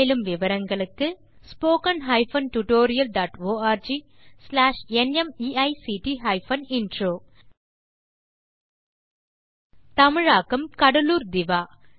மேலும் விவரங்கள் இந்த தொடுப்பில் உள்ளன httpspoken tutorialorgNMEICT Intro மூல பாடம் ஸ்ந்த் மும்பை இலிருந்து நீதா சவந்த் தமிழாக்கம் கடலூர் திவா